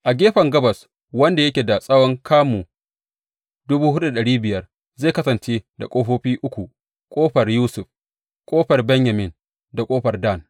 A gefen gabas, wanda yake da tsawon kamu dubu hudu da dari biyar zai kasance da ƙofofi uku, ƙofar Yusuf, ƙofar Benyamin da ƙofar Dan.